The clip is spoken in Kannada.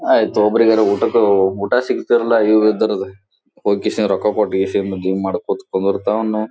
ಆಯಿತು ಒಬ್ಬರಿಗಾರ್ ಊಟಕ್ ಊಟ ಸಿಗತ್ತಲ ಈ ಇದ್ರದ್ ಒಕ್ಕಿ ಸರ್ ರೊಕ್ಕ ಕೊಟ್ಟ ಯೇಷುಯಿಂದ ಬಿಮ್ ಕುಂದ್ರತಾಉನ್ನು.